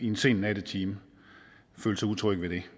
en sen nattetime følte sig utrygge ved det